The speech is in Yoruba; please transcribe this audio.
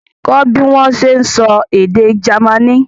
Kọ́ bí wọ́n ṣe ń sọ èdè Jamaní!